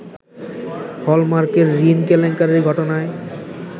হলমার্কের ঋণ কেলেঙ্কারির ঘটনায়